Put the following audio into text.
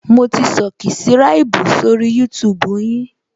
Mo ti subscribu sórí YouTube yin